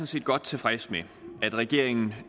set godt tilfreds med at regeringen